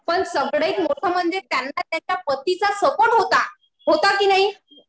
पण सगळ्यात मोठं म्हणजे त्यांना त्यांच्या पतीचा सपोर्ट होता. होता कि नाही.